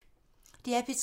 DR P3